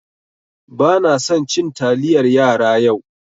Banasan cin taliyar yara yau.